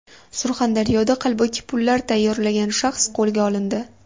Surxondaryoda qalbaki pullar tayyorlagan shaxs qo‘lga olindi.